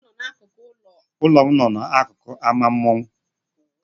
Ụlọ m no n'akụkụ ámá mmanwụ.